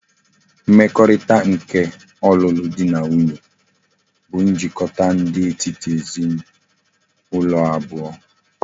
Mmekorita nke olulu di na nwunye bu njikota di etiti ezi na ulo abuo